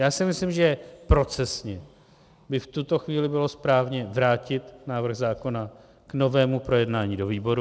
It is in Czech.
Já si myslím, že procesně by v tuto chvíli bylo správné vrátit návrh zákona k novému projednání do výboru.